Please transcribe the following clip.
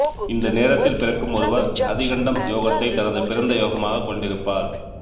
இந்த நேரத்தில் பிறக்கும் ஒருவர் அதிகண்டம் யோகத்தைத் தனது பிறந்த யோகமாகக் கொண்டிருப்பார்